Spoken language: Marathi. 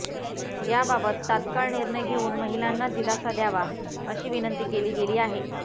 याबाबत तात्काळ निर्णय घेऊन महिलांना दिलासा द्यावा अशी विनंती केली गेली आहे